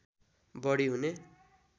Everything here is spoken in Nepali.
बढी हुने